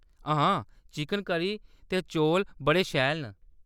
हां, chicken curry ते चौल बड़े शैल न।